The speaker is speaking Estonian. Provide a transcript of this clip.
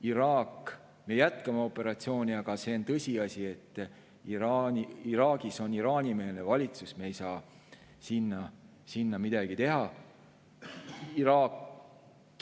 Iraagis me jätkame operatsiooni, aga see on tõsiasi, et Iraagis on Iraani-meelne valitsus, me ei saa sinna midagi teha.